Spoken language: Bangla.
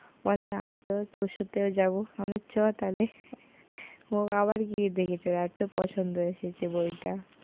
বলে আমি তবে তোর সাথেও যাব, আমি বললাম চ তাহলে ও আবার গিয়ে দেখেছে, ওর এত পছন্দ ওই বইটা।